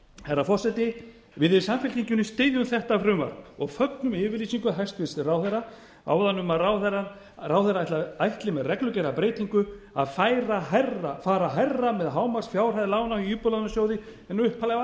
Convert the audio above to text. herra forseti við í samfylkingunni styðjum þetta frumvarp og fögnum yfirlýsingu hæstvirts ráðherra áðan um að ráðherra ætli með reglugerðarbreytingu að fara hærra með hámarksfjárhæð lána í íbúðalánasjóði en upphaflega var